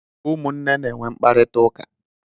Ụmụnne na-enwe mkparita ụka.